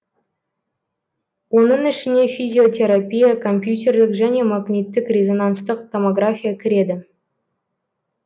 оның ішіне физиотерапия компьютерлік және магниттік резонанстық томография кіреді